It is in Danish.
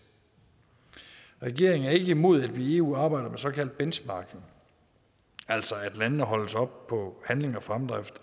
regeringen er ikke imod at vi i eu arbejder med såkaldt benchmarking altså at landene holdes op på handling og fremdrift